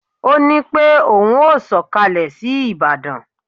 Ó ní pé ohun ó sọkalẹ sí Ìbàdàn